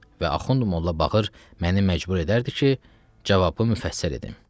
Və Axund Mollabağır məni məcbur edərdi ki, cavabı müfəssəl edim.